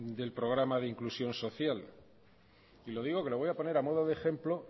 del programa de inclusión social y lo digo que lo voy a poner a modo de ejemplo